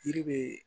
Yiri be